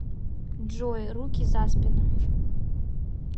джой руки за спину